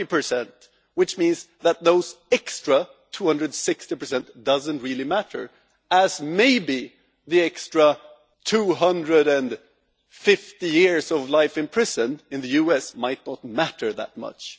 40? This means that the extra 260 does not really matter, just as maybe the extra 250 years of life in prison in the US might not matter that much.